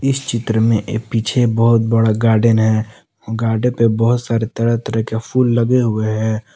इस चित्र में पीछे बहोत बड़ा गार्डेन है गार्डेन पे बहोत सारे तरह तरह के फूल लगे हुए हैं।